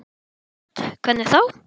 Hödd: Hvernig þá?